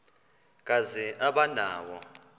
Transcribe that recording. kazi aba nawo